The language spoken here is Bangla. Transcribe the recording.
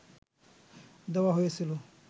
দেওয়া হয়েছিল